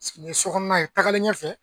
Nin ye sokɔnɔna ye tagalen ɲɛ fɛ